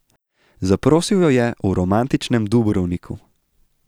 Zaprosil jo je v romantičnem Dubrovniku.